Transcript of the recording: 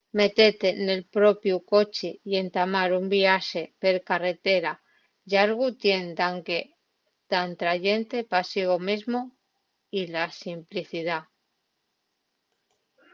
metete nel to propiu coche y entamar un viaxe per carretera llargu tien daqué d’atrayente pa sigo mesmo y la simplicidá